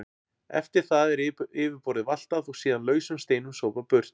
Eftir það er yfirborðið valtað og síðan lausum steinum sópað burt.